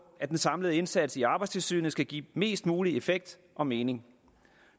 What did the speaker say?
at den samlede indsats i arbejdstilsynet skal give mest mulig effekt og mening